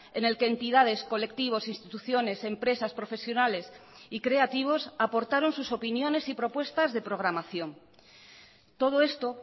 en el que entidades colectivos instituciones empresas profesionales y creativos aportaron sus opiniones y propuestas de programación todo esto